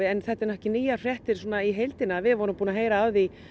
en þetta eru ekki nýjar fréttir í heildina við vorum búin að heyra af því